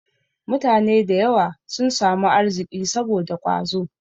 Mutane da yawa sun samu arziki saboda ƙwazo.